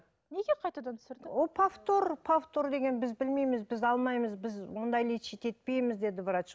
неге қайтадан түсірді ол повтор повтор деген біз білмейміз біз алмаймыз біз ондай лечить етпейміз деді врач